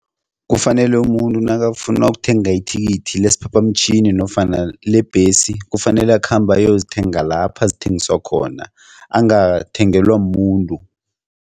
Kufanele umuntu nakafuna ukuthenga ithikithi lesiphaphamtjhini nofana lebhesi, kufanele akhambe ayozithenga lapho ezithengiswa khona, angathengelwa mumuntu.